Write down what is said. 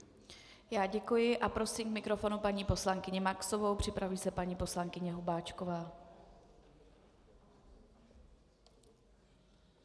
Já děkuji a prosím k mikrofonu paní poslankyni Maxovou, připraví se paní poslankyně Hubáčková.